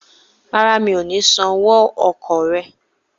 Rárá, mi ò ní san owó ọkọ̀ rẹ